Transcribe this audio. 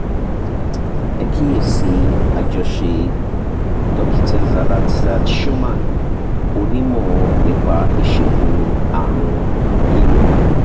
ẹ kíyè sí i àjọṣe dókítà salah saad shoman onímọ̀ nípa ìṣègùn àárùn inú